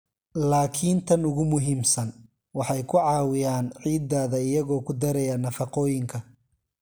"Laakiin tan ugu muhiimsan, waxay ku caawiyaan ciiddaada iyagoo ku daraya nafaqooyinka."